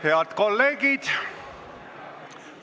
Head kolleegid!